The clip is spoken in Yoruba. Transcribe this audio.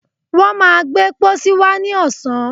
wọ́n má gbé pósí wá ní ọ̀sán.